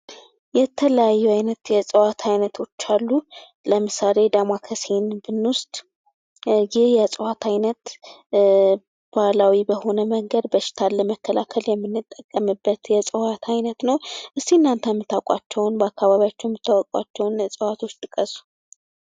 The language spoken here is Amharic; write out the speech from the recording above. የተለያዩ አይነት የእጽዋት አይነቶች አሉ። ለምሳሌ ዳማከሴን ብኖስድ ይህ የዕፅዋት አይነት ባህላዊ በሆነ መንገድ በሽታን ለመከላከል የምንጠቀምበት የእጽዋት አይነት ነው። እስኪ እናንተም ምታውቋቸውን በአካባቢያችን ምታውቋቸውን እጽዋቶች ጥቀሱ።